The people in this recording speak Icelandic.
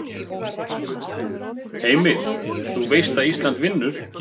Heimir: Þú veist að Ísland vinnur?